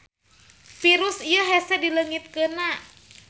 Virus ieu hese dileungitkeuna.